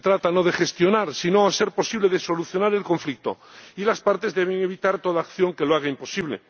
Se trata no de gestionar, sino, a ser posible, de solucionar el conflicto, y las partes deben evitar toda acción que lo haga imposible.